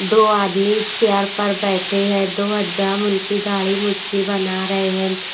दो आदमी चेयर पर बैठे हैं दो हज्जाम उनकी दाढ़ी मुच्छी बना रहे हैं ।